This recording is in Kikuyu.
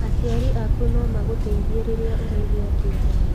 Aciari aku no magũteithie rĩrĩa ũraigwa kĩeha.